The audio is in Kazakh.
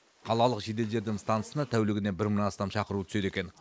қалалық жедел жәрдем стансасына тәулігіне бір мыңнан астам шақыру түседі екен